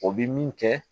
O bi min kɛ